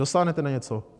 Dosáhnete na něco?